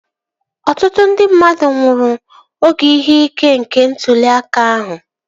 Ọtụtụ ndị mmadụ nwụrụ oge ihe ike nke ntụli aka ahụ